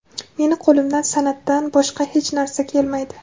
Meni qo‘limdan san’atdan boshqa hech narsa kelmaydi.